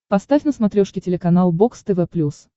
поставь на смотрешке телеканал бокс тв плюс